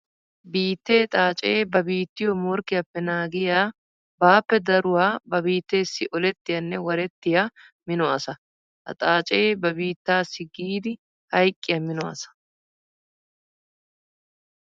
Biitte xaace ba biittiyo morkkiyappe naagiya baappe daruwa ba biittessi olettiyanne warettiya mino asaa. Ha xaace ba biittassi giidi hayqqiya mino asa.